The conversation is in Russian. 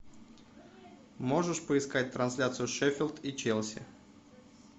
можешь поискать трансляцию шеффилд и челси